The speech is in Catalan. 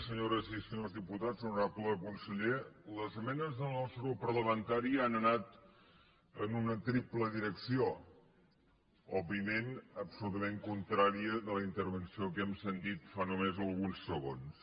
senyores i senyors diputats honorable conseller les esmenes del nostre grup parlamentari han anat en una triple direcció òb·viament absolutament contrària de la intervenció que hem sentit fa només alguns segons